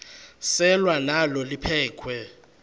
selwa nalo liphekhwe